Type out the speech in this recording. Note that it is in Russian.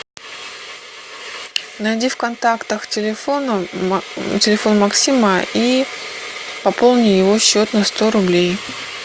найди в контактах телефона телефон максима и пополни его счет на сто рублей